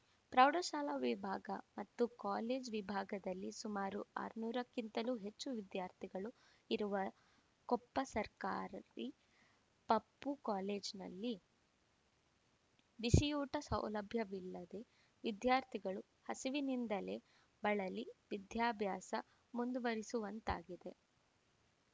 ಪ್ರೌಢಶಾಲಾ ವಿಭಾಗ ಮತ್ತು ಕಾಲೇಜು ವಿಭಾಗದಲ್ಲಿ ಸುಮಾರು ಆರುನೂರಕ್ಕಿಂತಲೂ ಹೆಚ್ಚು ವಿದ್ಯಾರ್ಥಿಗಳು ಇರುವ ಕೊಪ್ಪ ಸರ್ಕಾರಿ ಪಪ್ಪು ಕಾಲೇಜಿನಲ್ಲಿ ಬಿಸಿಯೂಟ ಸೌಲಭ್ಯವಿಲ್ಲದೆ ವಿದ್ಯಾರ್ಥಿಗಳು ಹಸಿವಿನಿಂದಲೇ ಬಳಲಿ ವಿದ್ಯಾಭ್ಯಾಸ ಮುಂದುವರಿಸುವಂತಾಗಿದೆ